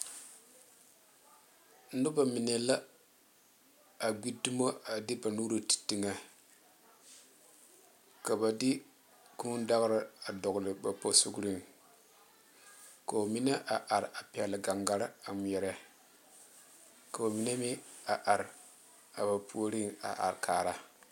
Noba mine la a gbe domo a de ba nuure te teŋa ka ba de kūū dagare dogle ba posɔga ko'o mine a are a pegle gaŋgaare a ŋmeɛrɛ ko'o mine meŋ a are a ba puori a are kaara.